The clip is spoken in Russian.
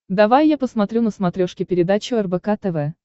давай я посмотрю на смотрешке передачу рбк тв